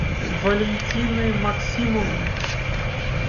валентины максимовны